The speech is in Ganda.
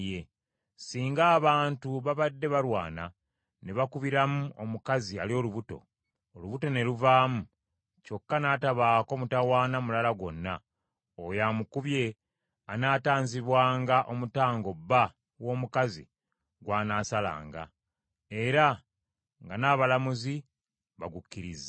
“Singa abantu babadde balwana, ne bakubiramu omukazi ali olubuto, olubuto ne luvaamu, kyokka n’atabaako mutawaana mulala gwonna, oyo amukubye anaatanzibwanga omutango bba w’omukazi gw’anaasalanga, era nga n’abalamuzi bagukkirizza.